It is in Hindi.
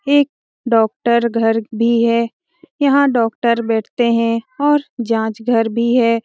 एक डॉक्टर घर भी है यहाँ डॉक्टर बैठते है और जांच घर भी है।